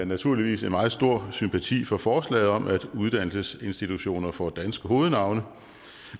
naturligvis en meget stor sympati for forslaget om at uddannelsesinstitutioner får danske hovednavne